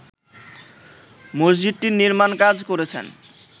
মসজিদটির নির্মাণ কাজ করেছেন